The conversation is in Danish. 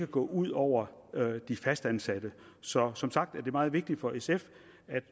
gå ud over de fastansatte så som sagt er det meget vigtigt for sf at